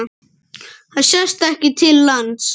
Það sést ekki til lands.